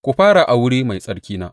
Ku fara a wuri mai tsarkina.